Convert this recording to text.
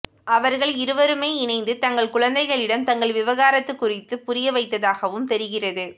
அவர்கள் இருவருமே இணைந்து தங்கள் குழந்தைகளிடம் தங்கள் விவகாரத்து குறித்து புரிய வைத்ததாகவும் தெரிகிறது